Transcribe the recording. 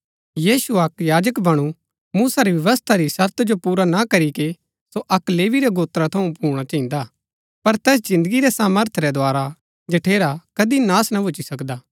यीशु अक्क याजक बणु मूसा री व्यवस्था री शर्त जो पुरा ना करीके कि सो अक लेवी रै गोत्रा थऊँ भूणा चहिन्दा पर तैस जिन्दगी रै सामर्थ रै द्धारा जठेरा कदी नाश ना भूची सकदा